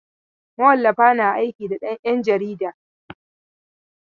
Mawallafa na aiki da 'ƴan jaridu.